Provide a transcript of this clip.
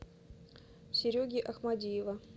сереги ахмадиева